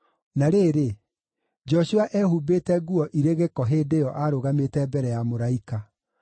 Na rĩrĩ, Joshua eehumbĩte nguo irĩ gĩko hĩndĩ ĩyo aarũgamĩte mbere ya mũraika.